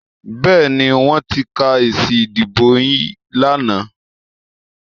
Bẹ́ẹ̀ni, wọ́n ti ka èsì ìdìbò yín lánàá